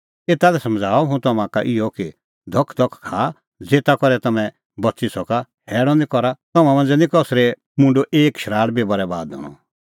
एता लै समझ़ाऊआ हुंह तम्हां का इहअ कि धखधख खाआ ज़ेता करै तम्हैं बच़ी सका हैल़अ निं करा तम्हां मांझ़ै निं कसरै मुंडो एक शराल़ बी बरैबाद हणअ